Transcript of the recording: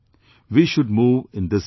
We should move in this direction